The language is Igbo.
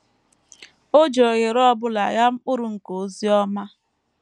O ji ohere ọ bụla ghaa mkpụrụ nke ozi ọma.